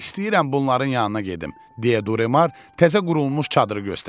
İstəyirəm bunların yanına gedim, deyə Duremar təzə qurulmuş çadırı göstərdi.